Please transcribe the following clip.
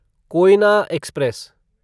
Koyna express